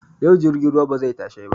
Yau jirgin ruwa bazai tashai ba